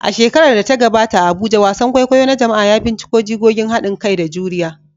A shekarar da ta gabata a Abuja, wasan kwaikwayo na jama'a ya binciko jigogin hadin kai da juriya